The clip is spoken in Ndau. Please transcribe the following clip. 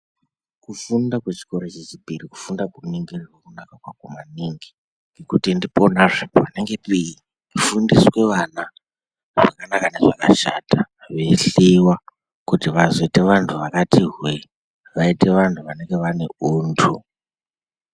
Kufunda kwechikora chechipiri, kufunda kwekuningirwa kudaro maningi kuti ndiponazve panenge peifundiswa vana zvakanaka nezvakashata veihleiwa kuti vazoita vantu vakati hwee. Vaite vantu vanenge vane untu.